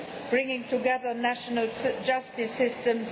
bringing together national justice systems